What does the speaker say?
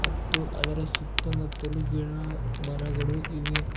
ಮತ್ತು ಅದರ ಸುತ್ತಮುತ್ತಲು ಗಿಡಮರಗಳು ಇವೆ.